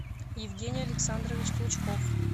евгений александрович клычков